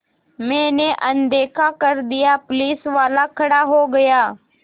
मैंने अनदेखा कर दिया पुलिसवाला खड़ा हो गया